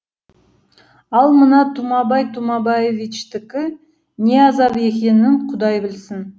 ал мына тұмабай тұмабаевичтікі не азап екенін құдай білсін